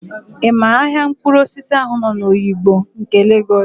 Ị ma ahịa mkpụrụosisi ahụ nọ n'Oyigbo nke Legọs?